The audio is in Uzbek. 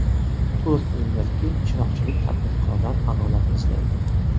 To‘rt yildirki, chiroqchilik tadbirkorlar adolat izlaydi.